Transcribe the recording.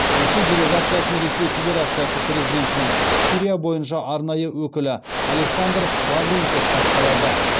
ресей делегациясын ресей федерациясы президентінің сирия бойынша арнайы өкілі александр лаврентьев басқарады